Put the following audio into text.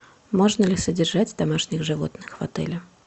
можно ли содержать домашних животных в отеле